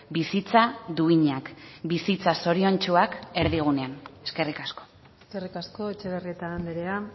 bizitza duinak bizitza zoriontsuak erdigunean eskerrik asko eskerrik asko etxebarrieta andrea